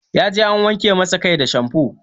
Ya je an wanke masa kai da shamfo